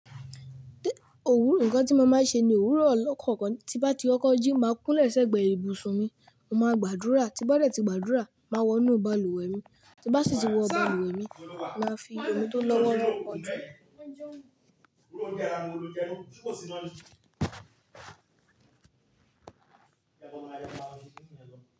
Òwúrọ̀ ǹkan tí mo máa ń ṣe ni òwúrọ̀ ọlọ́. Kọ̀ọ̀kan tí bá ti kọkọ́ jí máa kún lẹ́sẹ̀ gbẹ ibùsùn mi, mo màá gbàdúrà. Tí bá dẹ́ tí gbàdúrà, máa wọnú balùwẹ̀ mi. Tí bá sì ti wọ balùwẹ̀ mi, màá fi omi tó lọ́wọ́ lọ pọn òju mi.